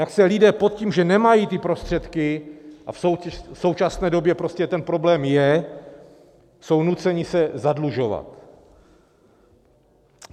Jak se lidé, pod tím, že nemají ty prostředky, a v současné době prostě ten problém je, jsou nuceni se zadlužovat.